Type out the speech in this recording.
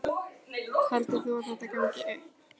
Heldur þú að þetta gangi upp?